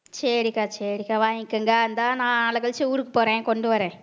சரிக்கா சரிக்கா வாங்கிக்கங்க இந்தா நான் நாளக்கழிச்சு ஊருக்கு போறேன் கொண்டு வர்றேன்